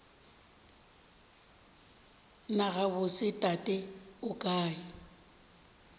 na gabotse tate o kae